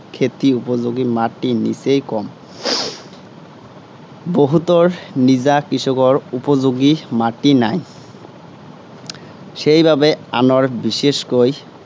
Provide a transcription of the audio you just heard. খেতিৰ উপযােগী মাটি নিচেই কম। বহুতৰ নিজা কৃষকৰ উপযােগী মাটি নাই। সেইবাবে আনৰ বিশেষকৈ